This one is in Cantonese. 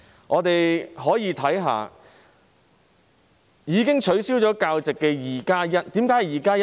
我們可以看看已經被取消教席的 "2+1" 宗個案，為何我會說是 "2+1"？